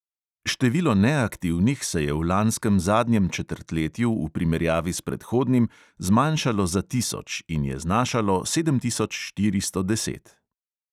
Število neaktivnih se je v lanskem zadnjem četrtletju v primerjavi s predhodnim zmanjšalo za tisoč in je znašalo sedem tisoč štiristo deset.